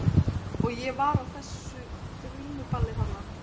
Og ég var á þessu grímuballi þarna.